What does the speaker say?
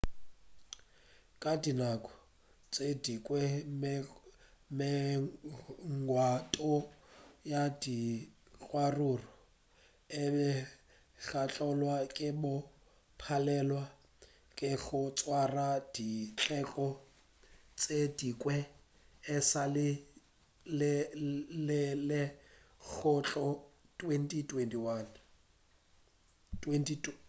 ka dinako tše dingwe-megwanto ya dikgaruru e be thakgolwa ke go palelwa ke go swara dikgetho tše dingwe e sa le di letelwa go tloga 2011